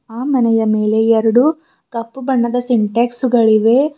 ಆ ಮನೆಯ ಮೇಲೆ ಎರಡು ಕಪ್ಪು ಬಣ್ಣದ ಸಿಂಟ್ಯಾಕ್ಸ್ ಗಳಿವೆ.